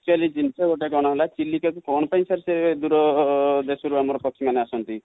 actually ଜିନଷ ଗୋଟେ କଣ ହେଲା ଚିଲିକା କୁ କଣ ପାଇଁ ସେତେ ଦୂର ଦେଶ ରୁ ଆମ ର ପକ୍ଷୀ ମାନେ ଆସନ୍ତି?